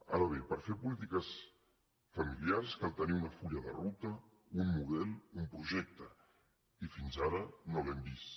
ara bé per fer polítiques familiars cal tenir un full de ruta un model un projecte i fins ara no l’hem vist